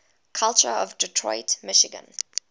culture of detroit michigan